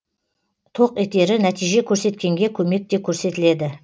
тоқ етері нәтиже көрсеткенге көмек те көрсетіледі